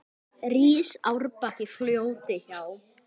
Rís árbakki fljóti hjá.